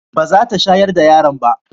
ba za ta shayar da yaron ba